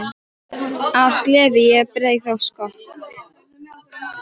Af gleði ég bregð á skokk.